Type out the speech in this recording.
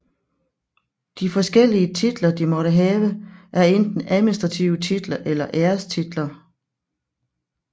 De forskellige titler de måtte have er enten administrative titler eller ærestitler